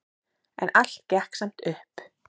En allt gekk samt upp.